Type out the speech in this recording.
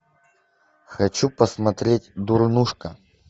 хочу посмотреть дурнушка